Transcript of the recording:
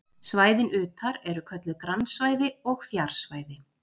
svæðin utar eru kölluð grannsvæði og fjarsvæði